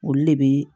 Olu de bɛ